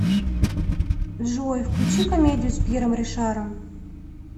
джой включи комедию с пьером ришаром